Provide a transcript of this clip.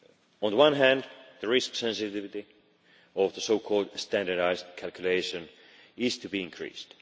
On the one hand, the risk sensitivity of the so called standardised calculation is to be increased.